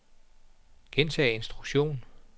gentag instruktion